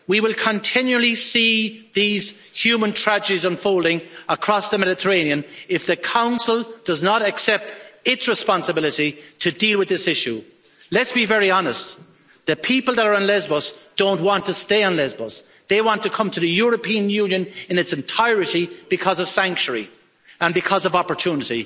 We will continually see these human tragedies unfolding across the Mediterranean if the Council does not accept its responsibility to deal with this issue. Let's be very honest, the people that are on Lesbos don't want to stay on Lesbos, they want to come to the European Union in its entirety because of sanctuary and because of opportunity.